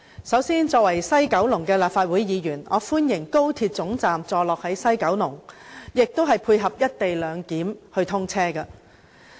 首先，作為西九龍的立法會議員，我歡迎高鐵總站座落於西九龍和配合"一地兩檢"通車。